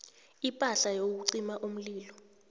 ipahla yokucima umlilo